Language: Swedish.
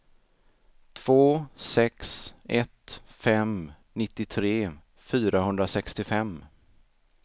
två sex ett fem nittiotre fyrahundrasextiofem